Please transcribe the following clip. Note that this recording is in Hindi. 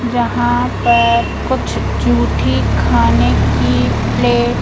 यहाँ पर कुछ झूठी खाने की प्लेट --